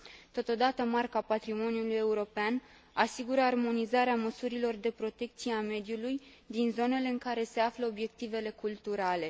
Totodată, Marca patrimoniului european asigură armonizarea măsurilor de protecție a mediului din zonele în care se află obiectivele culturale.